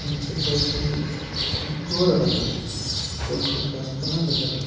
নীচে কয়েকটি টি ঘর দেখা যাচ্ছে কয়েকটি গাছপালাও দেখা যা--